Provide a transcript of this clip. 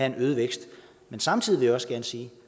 en øget vækst samtidig vil jeg sige at